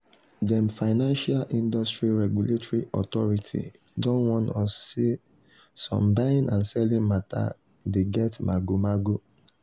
dem financial industry regulatory authority don warn us say some buying and selling matter dey get magomago